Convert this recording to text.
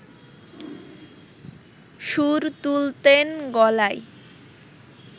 সুর তুলতেন গলায়